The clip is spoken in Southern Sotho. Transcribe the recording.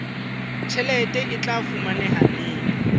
tjhelete e tla fumaneha neng